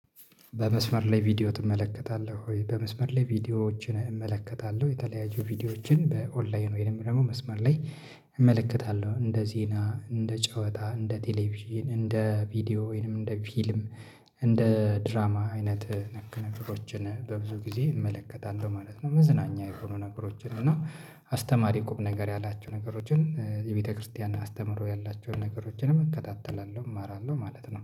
በመስመር ላይ ቪዲዮ ትመለከታለህ ወይ? በመስመር ላይ ቪዲዮዎችን እመለከታለሁ። የተለያዩ ቪዲዮዎችን በኦንላይን ወይም ደግሞ መስመር ላይ እመለከታለሁ። እንደ ዜና፤ እንደ ጨዋታ፤ እንደ ቴሌቪዥን፤ እንደ ቪዲዮ ወይንም እንደ ፊልም እንደ ድራማ አይነት ነገሮችን በብዙ ጊዜ እመለከታለሁ ማለት ነው። መዝናኛ የሆኑ ነገሮችን እና አስተማሪ ቁም ነገር ያላቸው ነገሮችን፤ የቤተክርስቲያን አስተምሮ ያላቸውን ነገሮችንም እከታተላለሁ እማራለሁ ማለት ነው።